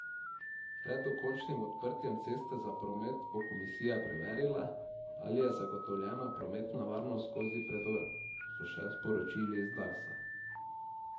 Pred dokončnim odprtjem ceste za promet bo komisija preverila, ali je zagotovljena prometna varnost skozi predor, so še sporočili z Darsa.